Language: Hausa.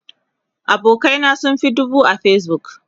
abokanai na sun Fi dubu a Facebook